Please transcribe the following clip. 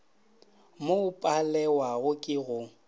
mo o palewago ke go